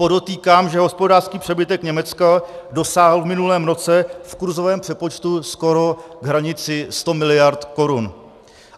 Podotýkám, že hospodářský přebytek Německa dosáhl v minulém roce v kurzovém přepočtu skoro k hranici 100 mld. korun.